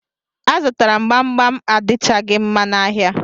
A zụtara m gbam gbam adichaghi mma n'ahịa